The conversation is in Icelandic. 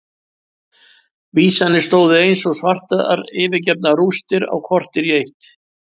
Vísarnir stóðu eins og svartar yfirgefnar rústir á kortér í eitt.